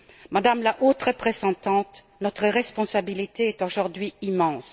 Madame la Haute représentante, notre responsabilité est aujourd'hui immense.